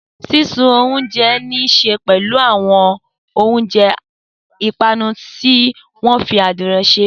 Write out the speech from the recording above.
Sísun oúnjẹ ní í ṣe pẹ̀lú àwọn oúnjẹ ìpanu tí wọ́n fi adiro ṣe.